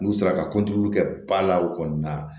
N'u sera ka kɛ ba la o kɔni na